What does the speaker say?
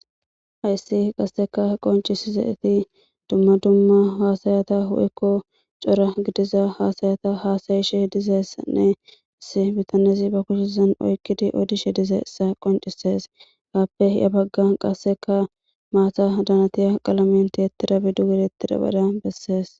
Hayssi qassekka qonccisizayssi dumma dumma haasaya woykko cora gidiza haasayata haasayishe dizayssanne zeebetanne zeeba kushen oykki odishe dizayssa qonccisees. Aappe ya bagga qassekka maatadan haniya qalamen tiyetidabi duge yedetidabara bessees.